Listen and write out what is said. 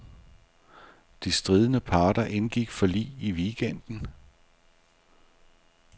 De stridende parter indgik forlig i weekenden.